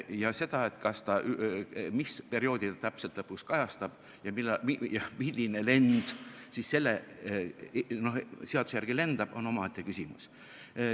Ja see, mis perioodi ta täpselt lõpuks kajastab ja milline lend siis selle seaduse järgi lendab, on omaette küsimus.